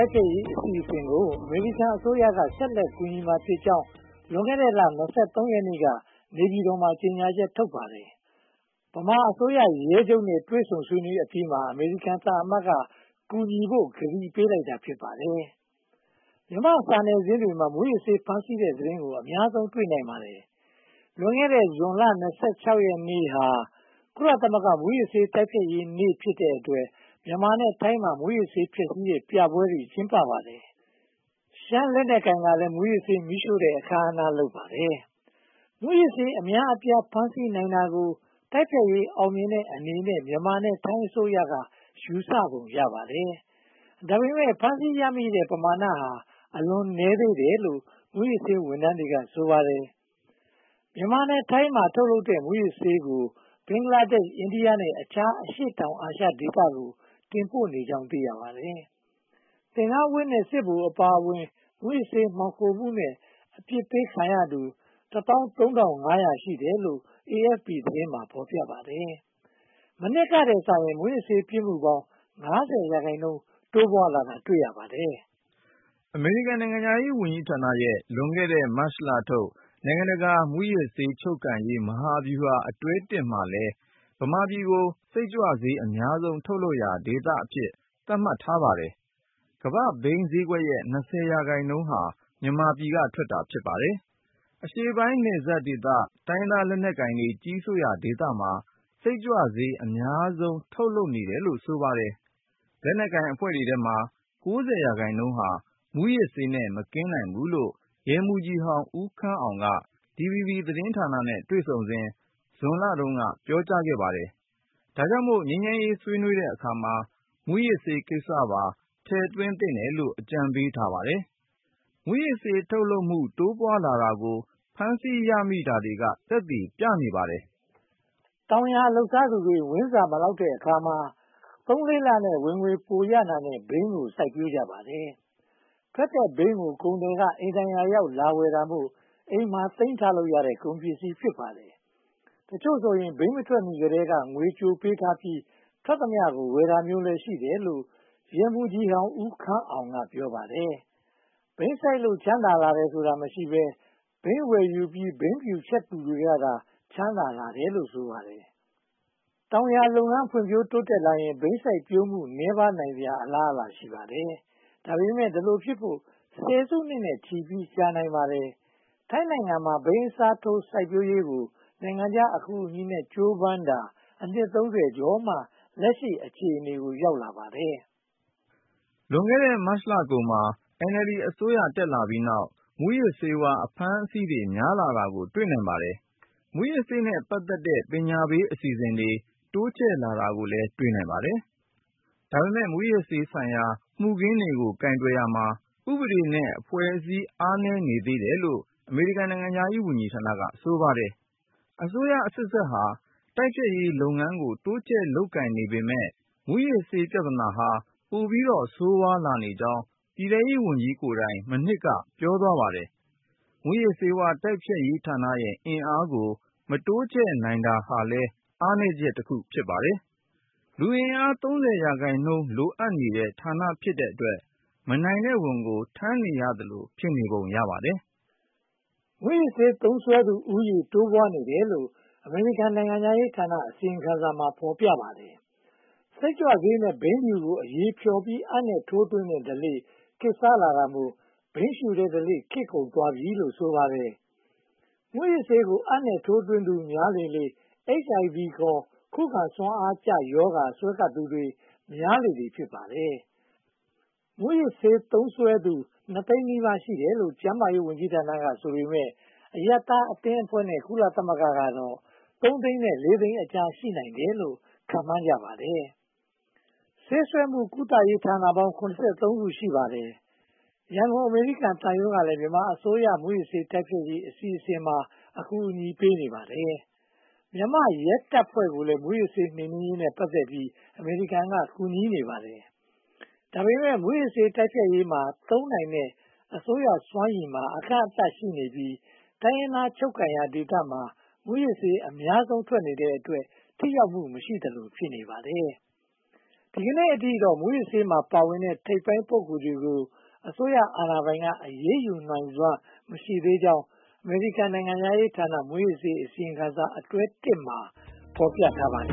က်ရေး အစီအစဉ်ကို အမေရိကန်အစိုးရက ဆက်လက်ကူညီမှာဖြစ်ကြောင်း လွန်ခဲ့တဲ့လ (၂၃) ရက်နေ့က နေပြည်တော်မှာ ကြေညာချက် ထုတ်ပါတယ်။ မြန်မာအစိုးရရဲချုပ်နဲ့ တွေ့ဆုံဆွေးနွေးအပြီးမှာ အမေရိကန်သံအမတ်က ကူညီဖို့ ကတိပေးလိုက်တာ ဖြစ်ပါတယ်။ မြန်မာ့စာနယ်ဇင်းတွေမှာ မူးယစ်ဆေး ဖမ်းဆီးတဲ့သတင်းကို အများဆုံး တွေ့နိုင်ပါတယ်။ လွန်ခဲ့တဲ့ ဇွန်လ (၂၆) ရက်နေ့ဟာ ကုလသမဂ္ဂ မူးယစ်ဆေး တိုက်ဖျက်ရေးနေ့ဖြစ်တဲ့အတွက် မြန်မာနဲ့ထိုင်းမှာ မူးယစ်ဆေး ဖျက်ဆီးတဲ့ပြပွဲတွေ ကျင်းပပါတယ်။ ရှမ်းလက်နက်ကိုင်ကလည်း မူးယစ်ဆေး မီးရှို့တဲ့ အခမ်းအနားလုပ်ပါတယ်။ မူးယစ်ဆေး အများအပြား ဖမ်းဆီးနိုင်တာကို တိုက်ဖျက်ရေး အောင်မြင်တဲ့အနေနဲ့ မြန်မာနဲ့ထိုင်းအစိုးရက ယူဆပုံရပါတယ်။ ဒါပေမဲ့ ဖမ်းဆီးရမိတဲ့ ပမာဏဟာ အလွန်နည်းသေးတယ်လို့ မူးယစ်ဆေးဝန်ထမ်းတွေက ဆိုပါတယ်။ မြန်မာနဲ့ထိုင်းမှာ ထုတ်လုပ်တဲ့ မူးယစ်ဆေးကို ဘင်္ဂလားဒေ့ရှ်၊ အိန္ဒိယ နဲ့ အခြားအရှေ့တောင်အာရှဒေသကို တင်ပို့နေကြောင်း သိရပါတယ်။ သင်္ကန်းဝတ်နဲ့ စစ်ဗိုလ်အပါအဝင် မူးယစ်ဆေး မှောင်ခိုမှုနဲ့ အပြစ်ပေးခံရသူ (၁၃၅၀၀) ရှိတယ်လို့ AFP သတင်းမှာ ဖော်ပြပါတယ်။ မနှစ်ကထက်စာရင် မူးယစ်ဆေး ပြစ်မှုပေါင်း (၅၀) ရာခိုင်နှုန်း တိုးပွားလာတာ တွေ့ရပါတယ်။ အမေရိကန်နိုင်ငံခြားရေးဌာနရဲ့ လွန်ခဲ့တဲ့ မတ်လထုတ် “နိုင်ငံတကာ မူးယစ်ဆေး ချုပ်ကိုင်ရေး မဟာဗျူဟာ” အတွဲ (၁) မှာလည်း ဗမာပြည်ကို စိတ်ကြွဆေး အများဆုံး ထုတ်လုပ်ရာဒေသအဖြစ် သတ်မှတ်ထားပါတယ်။ ကမ္ဘာ့ဘိန်းဈေးကွက်ရဲ့ (၂၀) ရာခိုင်နှုန်းဟာ မြန်မာပြည်ကထွက်တာ ဖြစ်ပါတယ်။ အရှေ့ပိုင်းနယ်စပ်ဒေသ တိုင်းရင်းသား လက်နက်ကိုင်တွေ ကြီးစိုးရာဒေသမှာ စိတ်ကြွဆေး အများဆုံး ထုတ်လုပ်တယ်လို့ ဆိုပါတယ်။ လက်နက်ကိုင်အဖွဲ့တွေထဲမှာ (၉၀) ရာခိုင်နှုန်းဟာ မူးယစ်ဆေးနဲ့ မကင်းနိုင်ဘူးလို့ ရဲမှူးကြီးဟောင်း ဦးခမ်းအောင် က DVB သတင်းဌာနနဲ့ တွေ့ဆုံစဉ် ဇွန်လက ပြောသွားပါတယ်။ ဒါကြောင့်မို့ ငြိမ်းချမ်းရေးဆွေးနွေးတဲ့အခါမှာ မူးယစ်ဆေးကိစ္စပါ ထည့်သွင်းသင့်တယ်လို့ အကြံပေးထားပါတယ်။ မူးယစ်ဆေး ထုတ်လုပ်မှု တိုးပွားလာတာကို ဖမ်းဆီးရမိတာတွေက သက်သေပြပါတယ်။ တောင်ယာလုပ်စားသူတွေ ဝမ်းစာမလောက်တဲ့အခါမှာ သုံး-လေးလနဲ့ ဝင်ငွေပိုရနိုင်တဲ့ ဘိန်းကို စိုက်ပျိုးကြပါတယ်။ ထွက်တဲ့ဘိန်းကို ကုန်သည်တွေက အိမ်တိုင်ယာရောက် လာဝယ်တာမို့ အိမ်မှာသိမ်းထားလို့ရတဲ့ ကုန်ပစ္စည်း ဖြစ်ပါတယ်။ တချို့ဆိုရင် ဘိန်းမထွက်မီကတည်းက ငွေကြိုပေးထားပြီး ထွက်သမျှကို ဝယ်တာမျိုးလည်း ရှိတယ်လို့ ရဲမှူးကြီးဟောင်း ဦးခမ်းအောင်က ပြောပါတယ်။ ဘိန်းစိုက်လို့ ချမ်းသာလာတာ မရှိဘဲ၊ ဘိန်းဝယ်ယူပြီး ဘိန်းဖြူချက်သူတွေကသာ ချမ်းသာကြတယ်လို့ ဆိုပါတယ်။ တောင်ယာလုပ်ငန်း ဖွံ့ဖြိုးတိုးတက်လာရင် ဘိန်းစိုက်ပျိုးမှု နည်းပါးနိုင်စရာ အလားအလာ ရှိပါတယ်။ ဒါပေမဲ့ ဒီလိုဖြစ်လို့ ဆယ်စုနှစ်နဲ့ချီပြီး ကြာနိုင်ပါတယ်။ ထိုင်းနိုင်ငံမှာ ဘိန်းအစားထိုး စိုက်ပျိုးရေးကို နိုင်ငံခြားအကူအညီနဲ့ ကြိုးပမ်းတာ အနှစ် (၃၀) ကျော်မှ လက်ရှိ အခြေအနေ ရောက်လာပါတယ်။ လွန်ခဲ့တဲ့နှစ် မတ်လကုန်မှာ NLD အစိုးရ တက်လာပြီးတဲ့နောက် မူးယစ်ဆေးဝါး အဖမ်းအဆီးတွေ များလာတာကို တွေ့နိုင်ပါတယ်။ မူးယစ်ဆေးနဲ့ ပတ်သက်တဲ့ ပညာပေးအစီအစဉ်တွေ တိုးချဲ့လာတာကိုလည်း တွေ့နိုင်ပါတယ်။ ဒါပေမဲ့ မူးယစ်ဆေးဆိုင်ရာ မူခင်းတွေကို ကိုင်တွယ်ရာမှာ ဥပဒေနဲ့အဖွဲ့အစည်း အားနည်းနေသေးတယ်လို့ အမေရိကန် နိုင်ငံခြားရေးဌာနက ဆိုပါတယ်။ အစိုးရအဆက်ဆက်ဟာ တိုက်ဖျက်ရေးလုပ်ငန်းကို တိုးချဲ့လုပ်ကိုင်နေပေမယ့် မူးယစ်ဆေးပြဿနာဟာ ပိုပြီးတော့ ဆိုးဝါးလာကြောင်း ပြည်ထဲရေးဝန်ကြီးကိုယ်တိုင် မနှစ်က ပြောသွားပါတယ်။ မူးယစ်ဆေးဝါး တိုက်ဖျက်ရေးဌာနရဲ့ အင်အားကို မတိုးချဲ့နိုင်တာဟာလည်း အားနည်းချက်တခု ဖြစ်ပါတယ်။ လူအင်အား (၃၀) ရာခိုင်နှုန်း လိုအပ်နေတဲ့ ဌာနဖြစ်တဲ့အတွက် မနိုင်တဲ့ဝန်ကို ထမ်းနေရသလို ဖြစ်နေပုံရပါတယ်။ မူးယစ်ဆေးသုံးစွဲသူဦးရေ တိုးပွားနေတယ်လို့ အမေရိကန် နိုင်ငံခြားရေးဌာန အစီရင်ခံစာမှာ ဖော်ပြပါတယ်။ စိတ်ကြွဆေးနဲ့ ဘိန်းဖြူကို အရည်ဖျော်ပြီး အပ်နဲ့ထိုးသွင်းတဲ့ ဓလေ့ ခေတ်စားလာတာမို့ ဘိန်းရှုတဲ့ဓလေ့ ခေတ်ကုန်သွားပြီလို့ ဆိုပါတယ်။ မူးယစ်ဆေးကို အပ်နဲ့ထိုးသွင်းသူတွေများလေလေ HIV ခေါ် ခုခံစွမ်းအားကျရောဂါ စွဲကပ်သူတွေများလေလေ ဖြစ်နေပါတယ်။ မူးယစ်ဆေးသုံးစွဲသူ နှစ်သိန်းနီးပါး ရှိတယ်လို့ ကျန်းမာရေးဝန်ကြီးဌာနက ဆိုပေမယ့် အရပ်သားအသင်းအဖွဲ့နဲ့ ကုလသမဂ္ဂကတော့ သုံးသိန်းနဲ့ လေးသိန်းအကြား ရှိနိုင်တယ်လို့ ခန့်မှန်းကြပါတယ်။ ဆေးစွဲမှုကုသရေးဌာနပေါင်း (၇၃) ခု ရှိပါတယ်။ ရန်ကုန် အမေရိကန်သံရုံးကလည်း မြန်မာအစိုးရ မူးယစ်ဆေး တိုက်ဖျက်ရေး အစီအစဉ်တွေမှာ အကူအညီပေးနေပါတယ်။ မြန်မာ့ရဲတပ်ဖွဲ့ကိုလည်း မူးယစ်ဆေး နှိမ်နှင်းရေးနဲ့ ပတ်သက်ပြီး အမေရိကန်က ကူညီနေပါတယ်။ ဒါပေမဲ့ မူးယစ်ဆေးတိုက်ဖျက်ရေးမှာ သုံးနိုင်တဲ့ အစိုးရစွမ်းရည်မှာ အကန့်အသတ်ရှိနေပြီး တိုင်းရင်းသား ချုပ်ကိုင်ရာဒေသမှာ မူးယစ်ဆေးအထွက်များနေတဲ့အတွက် ထိရောက်မှု မရှိသလို ဖြစ်နေပါတယ်။ ဒီကနေ့အထိတော့ မူးယစ်ဆေးမှာ ပါဝင်နေတဲ့ ထိပ်ပိုင်း ပုဂ္ဂိုလ်တွေကို အစိုးရအာဏာပိုင်က အရေးယူနိုင်စွမ်း မရှိသေးကြောင်း အမေရိကန်နိုင်ငံခြားရေးဌာန မူးယစ်ဆေးအစီရင်ခံစာ အတွဲ (၁) မှာ ဖော်ပြထားပါတ